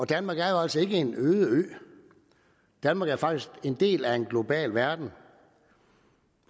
danmark er jo altså ikke en øde ø danmark er faktisk en del af en globaliseret verden